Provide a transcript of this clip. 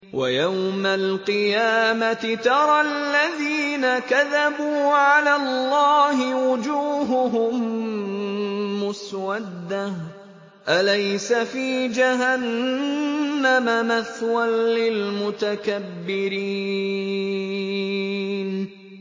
وَيَوْمَ الْقِيَامَةِ تَرَى الَّذِينَ كَذَبُوا عَلَى اللَّهِ وُجُوهُهُم مُّسْوَدَّةٌ ۚ أَلَيْسَ فِي جَهَنَّمَ مَثْوًى لِّلْمُتَكَبِّرِينَ